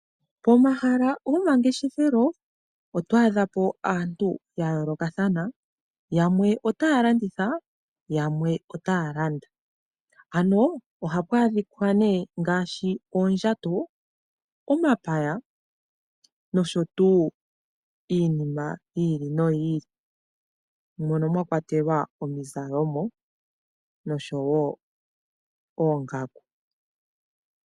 Pomahala gomangeshefelo oto adha po aantu ya yoolokathana. Yamwe otaya landitha yo yamwe otaya landa. Ohapu adhika ngaashi oondjato, omapaya noshowo iinima yi ili noyi ili moka mwa kwatelwa iizalomwa noshowo oongaku.